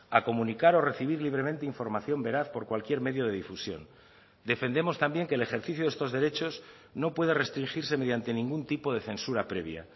a comunicar o recibir libremente información veraz por cualquier medio de difusión defendemos también que el ejercicio de estos derechos no puede restringirse mediante ningún tipo de censura previa